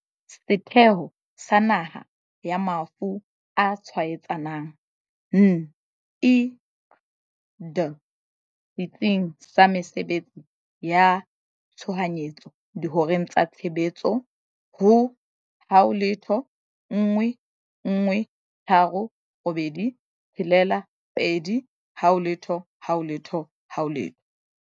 Setheo sa Naha sa Mafu a Tshwaetsang, NICD, Setsing sa Mesebetsi ya Tshohanyetso dihoreng tsa tshebetso ho- 011 386 2000.